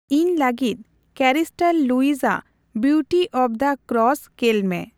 ᱤᱧ ᱞᱟᱹᱜᱤᱫ Crystal Lewis ᱟᱜ ᱵᱤᱩᱴᱤ ᱚᱵ ᱫᱟ ᱠᱨᱥ ᱠᱮᱞᱢᱮ᱾